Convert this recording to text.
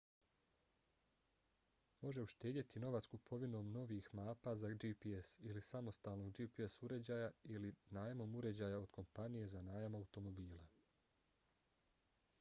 može uštedjeti novac kupovinom novih mapa za gps ili samostalnog gps uređaja ili najmom uređaja od kompanije za najam automobila